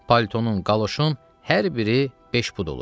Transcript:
Palitonun, qaloşun hər biri beş pud olur.